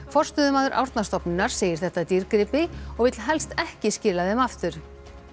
forstöðumaður Árnastofnunar segir þetta dýrgripi og vill helst ekki skila þeim aftur